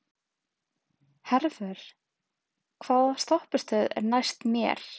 Hervör, hvaða stoppistöð er næst mér?